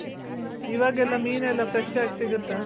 ಇವಾಗೆಲ್ಲ ಮೀನೆಲ್ಲ fresh ಆಗ್ ಸಿಗುತ್ತಾ?